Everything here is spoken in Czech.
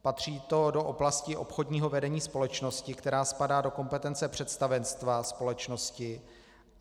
Patří to do oblasti obchodního vedení společnosti, která spadá do kompetence představenstva společnosti.